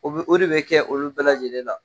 O be o de bɛ kɛ olu bɛɛ lajɛlen la.